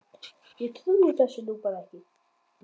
Ég trúi þessu nú bara ekki.